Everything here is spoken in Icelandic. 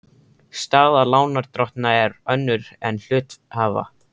Staða lánardrottna er önnur en hluthafa.